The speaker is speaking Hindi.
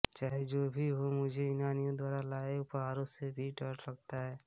चाहें जो भी हो मुझे यूनानियों द्वारा लाये उपहारों से भी डर लगता है